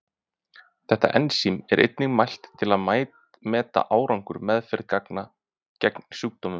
Þetta ensím er einnig mælt til að meta árangur meðferðar gegn sjúkdómnum.